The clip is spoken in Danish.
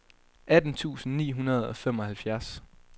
atten tusind ni hundrede og femoghalvfjerds